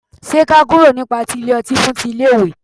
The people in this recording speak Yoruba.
ṣe k'a kúrò ní pati ile ọti fún ti ile iwe